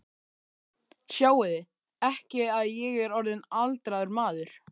Sjáiði ekki að ég er orðinn aldraður maður?